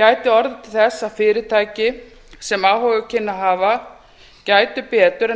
gæti orðið til þess að fyrirtæki sem áhuga kynnu að hafa gætu betur en